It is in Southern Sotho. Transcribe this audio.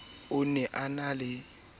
ona e ne e le